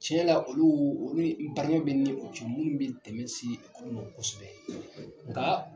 Cɛ la olu olu barikaɲɔgɔnya bɛ ni u cɛ minnu bɛ dɛmɛn se ekɔli mɔn kosɛbɛ nka